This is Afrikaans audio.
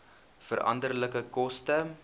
veranderlike koste